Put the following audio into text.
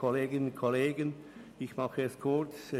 Ich mache es kurz.